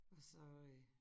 Og så øh